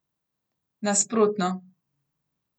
Nasprotno.